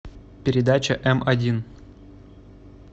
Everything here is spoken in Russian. передача м один